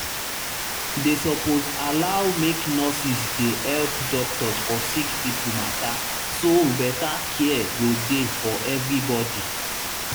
they suppose allow make nurses dey help doctors for sick people matter so better care go dey for everybody